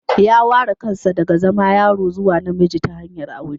Ya ware kansa daga zama yaro zuwa namiji ta hanyar aure